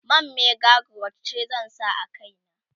man mega growth ce zan sa a kaina